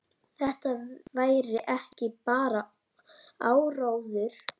Þetta væri ekki bara áróður.